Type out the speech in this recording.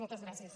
moltes gràcies